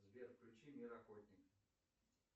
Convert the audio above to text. сбер включи мир охотник